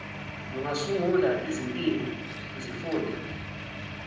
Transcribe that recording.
lungasungula izimpiko kwizifunda